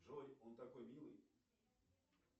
джой он такой милый